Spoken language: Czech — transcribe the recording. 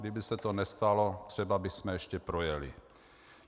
Kdyby se to nestalo, třeba bychom ještě projeli.